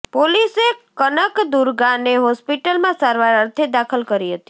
પોલીસે કનકદુર્ગાને હોસ્પિટલમાં સારવાર અર્થે દાખલ કરી હતી